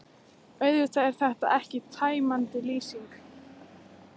Auðvitað er þetta ekki tæmandi lýsing.